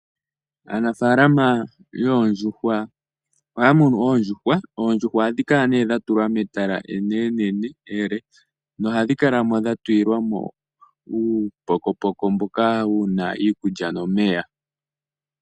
Aanafalama yoondjuhwa ohaya munu oondjuhwa hadhi kala dha tulwa metala enenenene ele nohadhi kalamo dha tu lilwamo uupokopoko mboka wu na iikulya nomeya.